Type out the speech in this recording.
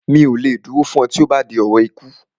Mi ò lè dúró fún ẹ tí ó bá ti di ọ̀rọ̀ ikú